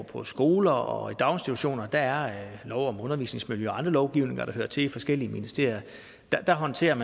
på skoler og i daginstitutioner gælder der lov om undervisningsmiljø og anden lovgivning hvad der hører til i de forskellige ministerier der håndteres